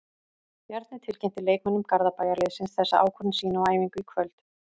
Bjarni tilkynnti leikmönnum Garðabæjarliðsins þessa ákvörðun sína á æfingu í kvöld.